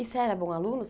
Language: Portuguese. E você era bom aluno?